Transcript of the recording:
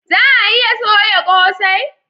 Za a iya soya kosai?